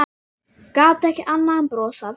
Gat ekki annað en brosað.